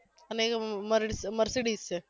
અને અહિયા મર mercedes છે